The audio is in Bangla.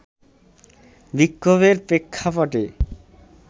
বিক্ষোভের প্রেক্ষাপটে